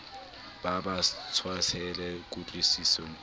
ba ba tshwasehe kutlwisisong e